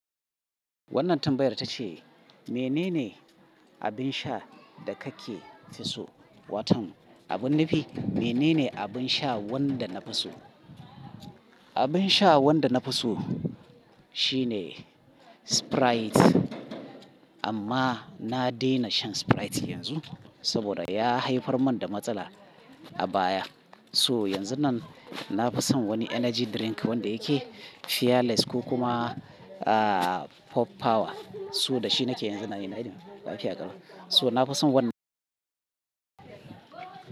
Wannan tambayar ta ce, "Menene abin sha da kake fi so?" Wato abin nufi, menene abin sha wanda na fi so? Abin sha wanda na fi so, shine Sprite, amma na daina shan Sprite yanzu saboda ya haifar mani da matsala a baya. So! Yanzun nan na fi son wani energy drink wanda yake Fearless ko kuma, aa, Pop Power. So! Da shi nake yanzu na yi na yi lafiya ƙarama. So na fi son wannan.